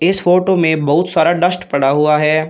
इस फोटो में बहुत सारा डस्ट पड़ा हुआ है।